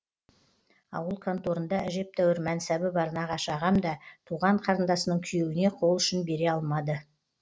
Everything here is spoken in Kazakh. ауыл конторында әжептәуір мәнсабы бар нағашы ағам да туған қарындасының күйеуіне қол ұшын бере алмады